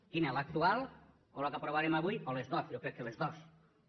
quina l’actual o la que aprovarem avui o les dues jo crec que les dues